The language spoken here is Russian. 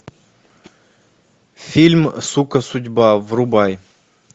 фильм сука судьба врубай